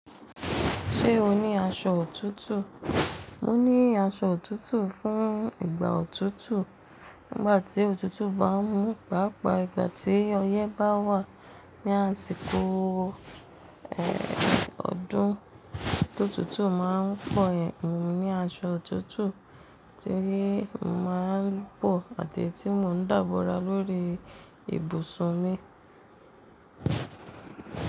Ṣé o ní aṣọ òtútù? Mo ní aṣọ òtútù fún ìgbà òtútù. Nígbà tí òtútù bá mú, pàápàá ìgbà tí ọyẹ́ bá wà ní àsìkò ẹ̀, ọdún tó òtútù máa ń pọ̀ yen, èmi ní aṣọ òtútù tí mo máa ń bọ̀ àteyi tí mò ń dábòra lórí ibùsùn mi.